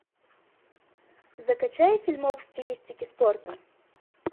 закачай фильмок в стилистике спорта